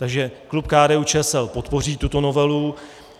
Takže klub KDU-ČSL podpoří tuto novelu.